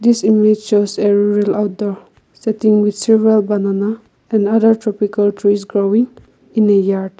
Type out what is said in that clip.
this image shows a real outdoor setting with several banana and other tropical trees growing in the yard.